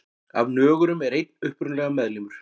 Af nögurum er einn upprunalegur meðlimur.